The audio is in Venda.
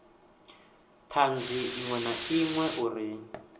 thanzi iṅwe na iṅwe uri